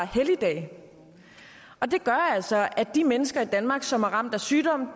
helligdage og det gør altså at de mennesker i danmark som er ramt af sygdom